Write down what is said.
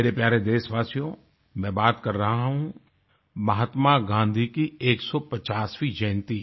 मेरे प्यारे देशवासियो मैं बात कर रहा हूँ महात्मा गाँधी की 150वीं जयन्ती